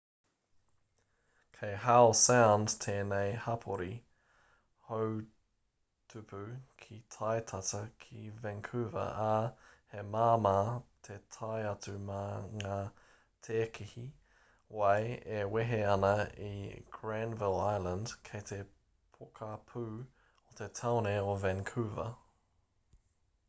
kei howe sound tēnei hapori houtupu ki tai tata ki vancouver ā he māmā te tae atu mā ngā tēkehi wai e wehe ana i granville island kei te pokapū o te tāone o vancouver